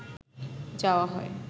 যাওয়া হয়